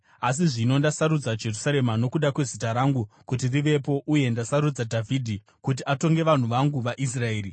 Asi zvino ndasarudza Jerusarema nokuda kweZita rangu kuti rivepo uye ndasarudza Dhavhidhi kuti atonge vanhu vangu vaIsraeri.’